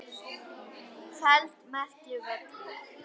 feld merkir völlur.